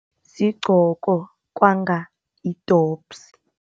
Sigqoka kwanga yi-dobhsi.